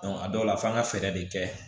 a dɔw la f'an ka fɛɛrɛ de kɛ